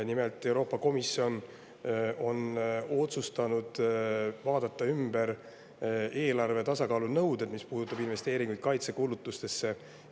Nimelt, Euroopa Komisjon on otsustanud vaadata üle eelarve tasakaalu nõuded, mis puudutab investeeringuid kaitsekulutustesse.